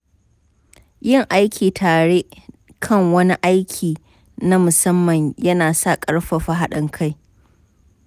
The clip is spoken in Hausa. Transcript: Yin aiki tare kan wani aiki na musamman ya na ƙarfafa haɗin kai.